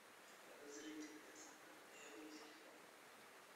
подозрительная сова первый сезон